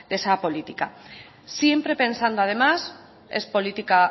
esa política siempre pensando además es política